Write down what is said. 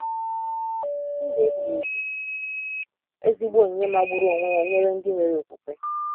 Ndụ ebighị ebi -ezigbo onyinye magburu onwe ya nyere ndị nwere okwukwe!